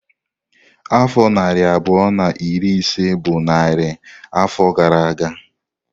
Afọ narị abụọ na iri ise bụ narị afọ gara aga.